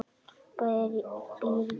Bæir fóru í eyði.